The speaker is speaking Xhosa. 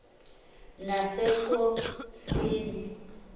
nasennkosini